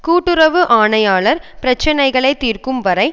கூட்டுறவு ஆணையாளர் பிரச்சினைகளை தீர்க்கும் வரை